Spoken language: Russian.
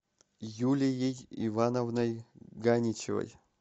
юлией ивановной ганичевой